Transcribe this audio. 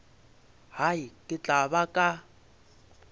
hai ke tla ba ka